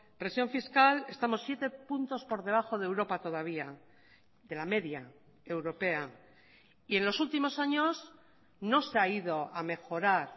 presión fiscal estamos siete puntos por debajo de europa todavía de la media europea y en los últimos años no se ha ido a mejorar